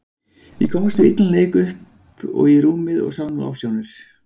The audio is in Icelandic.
Ég komst við illan leik upp og í rúmið og sá nú ofsjónir.